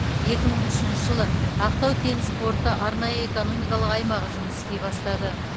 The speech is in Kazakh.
екі мың үшінші жылы ақтау теңіз порты арнайы экономикалық аймағы жұмыс істей бастады